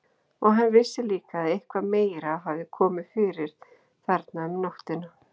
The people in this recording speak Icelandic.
Og hann vissi líka að eitthvað meira hafði komið fyrir þarna um nóttina.